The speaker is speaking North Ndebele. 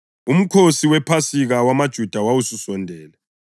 UMkhosi wePhasika wamaJuda wawususondele.